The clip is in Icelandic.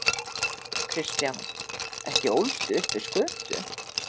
Kristján: Ekki ólstu upp við skötu?